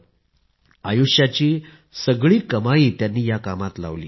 आपली आयुष्याची सगळी कमाई त्यांनी या कामात लावली